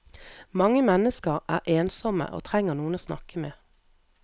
Mange mennesker er ensomme og trenger noen å snakke med.